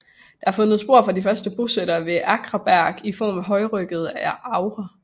Der er fundet spor fra de første bosættere ved Akraberg i form af højryggede agre